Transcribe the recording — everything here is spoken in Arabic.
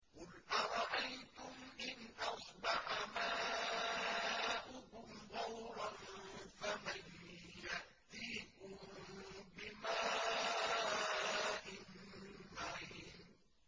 قُلْ أَرَأَيْتُمْ إِنْ أَصْبَحَ مَاؤُكُمْ غَوْرًا فَمَن يَأْتِيكُم بِمَاءٍ مَّعِينٍ